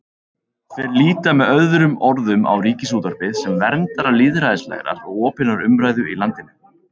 Þeir líta með öðrum orðum á Ríkisútvarpið sem verndara lýðræðislegrar og opinnar umræðu í landinu.